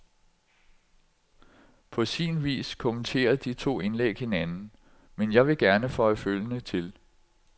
På sin vis kommenterer de to indlæg hinanden, men jeg vil gerne føje følgende til.